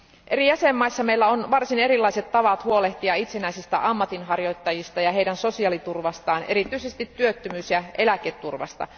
Eri jäsenvaltioissa meillä on varsin erilaiset tavat huolehtia itsenäisistä ammatinharjoittajista ja heidän sosiaaliturvastaan, erityisesti työttömyys ja eläketurvasta.